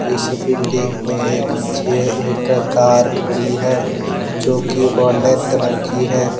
इस बिल्डिंग के नीचे एक कार खड़ी है जो की गोल्डन कलर की है।